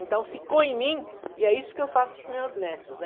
Então, ficou em mim e é isso que eu faço para os meus netos, né?